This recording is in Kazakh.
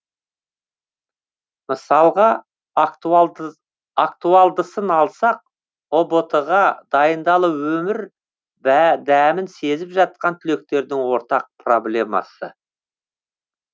мысалға актуалдысын алсақ ұбт ға дайындалу өмір дәмін сезіп жатқан түлектердің ортақ проблемасы